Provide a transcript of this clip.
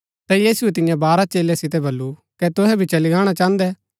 ता यीशुऐ तियां बारह चेलै सितै बल्लू कै तुहै भी चली गाणा चाहन्दै